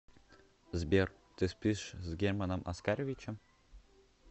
сбер ты спишь с германом оскаровичем